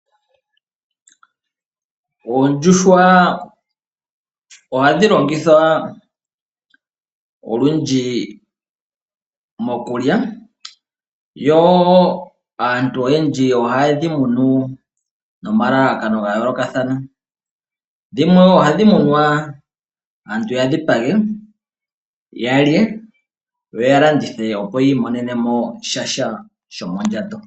Oondjuhwa ohadhi longithwa olundji mokulya . Aantu oyendji ohayedhi munu nomalalakano ga yoolokathana dhimwe, ohadhi munwa aantu ya dhipage yalye yo yi imonenemo sha shomondjato.